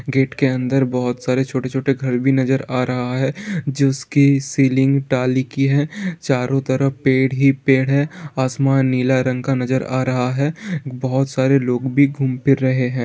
Gate के अंदर बहुत सारे छोटे छोटे घर भी नजर आ रहा है जिसकी सीलिंग टाली की है | चारों तरफ पेड़ ही पेड़ है | आसमान नीला रंग का नजर आ रहा है बहुत सारे लोग भी घूम फिर रहे है।